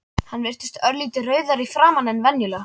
Hann virtist örlítið rauðari í framan en venjulega.